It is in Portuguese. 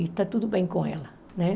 E está tudo bem com ela, né?